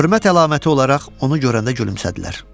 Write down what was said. Hörmət əlaməti olaraq onu görəndə gülümsədilər.